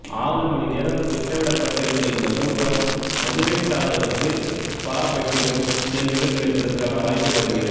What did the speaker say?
ஆறு மணி நேரம் திட்டமிடப்பட்டிருந்த இந்த கூட்டம் முதலீட்டாளர்களுக்கு பபெட்டிடம் கேள்விகள் கேட்பதற்கான வாய்ப்பை வழங்கியது